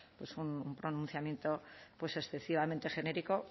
pues un pronunciamiento pues excesivamente genérico